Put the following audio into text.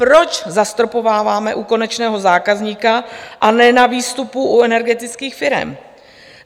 Proč zastropováváme u konečného zákazníka a ne na výstupu u energetických firem?